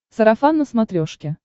сарафан на смотрешке